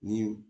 Ni